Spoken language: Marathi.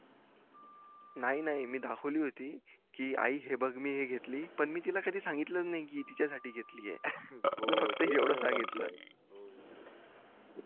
नाही नाही मी दाखवली होती कि आई हे बग मी घेतली पण तिला कधी सांगितलं च नाही कि मी तिच्या साठी घेतली मी फक्त येवडंच सांगितलं